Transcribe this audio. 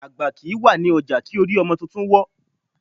Àgbà kìí wà ní ọjà kí orí ọmọ tuntun wọ́.